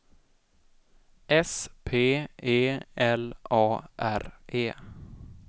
S P E L A R E